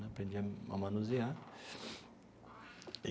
Né aprendi a manusear e.